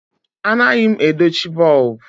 Anaghị m edochi bọlbụ.